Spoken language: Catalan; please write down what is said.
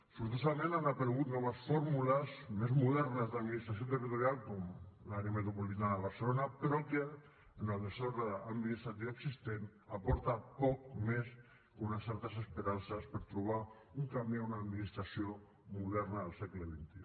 sortosament han aparegut noves fórmules més modernes d’administració territorial com l’àrea metropolitana de barcelona però que en el desordre administratiu existent aporta poc més que unes certes esperances per trobar un camí a una administració moderna del segle xxi